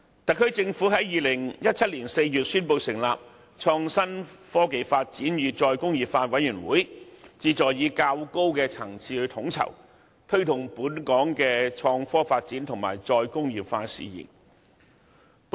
特區政府在2017年4月宣布成立創新、科技及再工業化委員會，旨在藉較高層次的統籌，推動本港的創科發展和"再工業化"事宜。